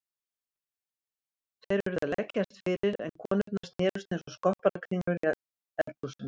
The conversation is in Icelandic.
Þeir urðu að leggjast fyrir en konurnar snerust einsog skopparakringlur í eldhúsinu.